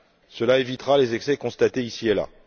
Cela évitera les excès constatés ici et là.